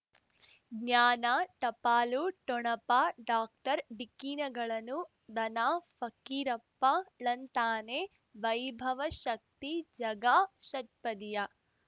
ಜ್ಞಾನ ಟಪಾಲು ಠೊಣಪ ಡಾಕ್ಟರ್ ಢಿಕ್ಕಿ ಣಗಳನು ಧನ ಫಕೀರಪ್ಪ ಳಂತಾನೆ ವೈಭವ ಶಕ್ತಿ ಝಗಾ ಷಟ್ಪದಿಯ